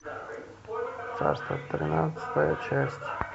царство тринадцатая часть